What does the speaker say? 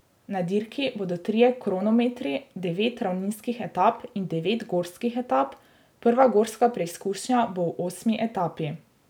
Na dirki bodo trije kronometri, devet ravninskih etap in devet gorskih etap, prva gorska preizkušnja bo v osmi etapi.